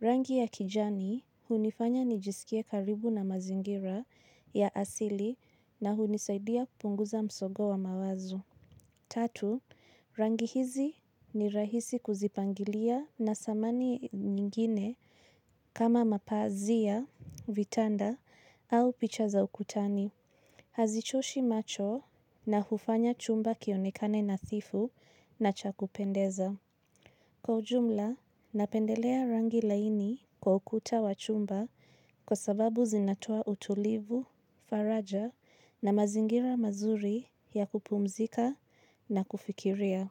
Rangi ya kijani, hunifanya nijisikie karibu na mazingira ya asili na hunisaidia kupunguza msogo wa mawazo. Tatu, rangi hizi ni rahisi kuzipangilia na samani nyingine kama mapazia, vitanda, au picha za ukutani. Hazichoshi macho na hufanya chumba kionikane nadhifu na cha kupendeza. Kwa ujumla, napendelea rangi laini kwa ukuta wa chumba kwa sababu zinatoa utulivu, faraja na mazingira mazuri ya kupumzika na kufikiria.